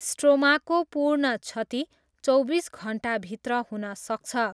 स्ट्रोमाको पूर्ण क्षति चौबिस घन्टाभित्र हुन सक्छ।